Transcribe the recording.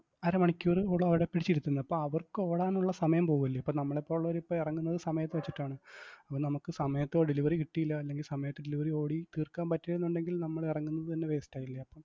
അരമണിക്കൂറോളം അവിടെ പിടിച്ചിരുത്തുന്നു. അപ്പോ അവർക്ക് ഓടാനുള്ള സമയം പോവു അല്ലേ? ഇപ്പൊ നമ്മളെ പോലുള്ളവര് ഇപ്പോ എറങ്ങുന്നത് സമയം ഒക്കെ വെച്ചിട്ടാണ് അപ്പൊ നമ്മക്ക് സമയത്ത് delivery കിട്ടിയില്ല, അല്ലെങ്കിൽ സമയത്ത് delivery ഓടി തീർക്കാൻ പറ്റീലന്നുണ്ടെങ്കിൽ നമ്മള് ഇറങ്ങുന്നത്‌ തന്നെ waste ആയില്ലേ അപ്പോ